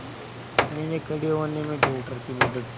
मैंने खड़े होने में डॉक्टर की मदद की